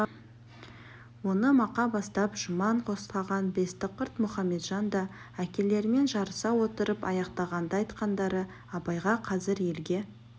оны мақа бастап жұман қостаған бестіқырт мұхаметжан да әкелерімен жарыса отырып аяқтаған-ды айтқандары абайға қазір елге